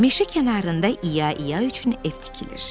Meşə kənarında İya-İya üçün ev tikilir.